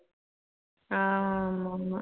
ஆஹ் ஆமா ஆமா